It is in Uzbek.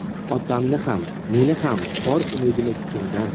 Otangni ham, meni ham bor umidimiz sendan.